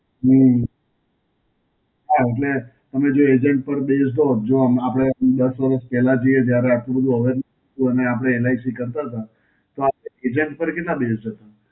હમ્મ, હાં એટલે જો અમે જો Agent પર દિવસો Observe માં આપડે આમ દસ વર્ષ પહેલા જોઈએ જ્યારે આટલું બધું અવેર, અને આપડે એલ આઈ સી કરતાં હતાં, તો આપડે agent પર કેટલા દિવસ જતાં?